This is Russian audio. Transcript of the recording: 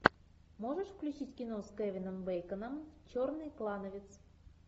можешь включить кино с кевином бейконом черный клановец